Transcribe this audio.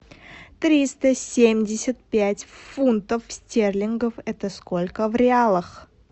триста семьдесят пять фунтов стерлингов это сколько в реалах